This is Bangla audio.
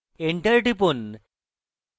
enter টিপুন